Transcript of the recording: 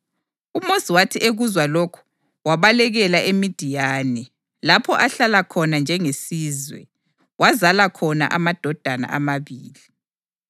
UMosi wathi ekuzwa lokho wabalekela eMidiyani, lapho ahlala khona njengesizwe, wazala khona amadodana amabili.